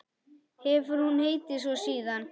Hefur hún heitið svo síðan.